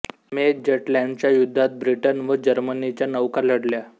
मे जटलॅंडच्या युद्धात ब्रिटन व जर्मनीच्या नौका लढल्या